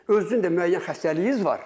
Özünüzün də müəyyən xəstəliyiniz var.